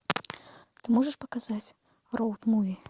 ты можешь показать роуд муви